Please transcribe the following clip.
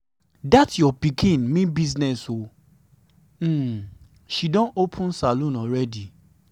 dat your pikin mean business ooo. um she don open salon already.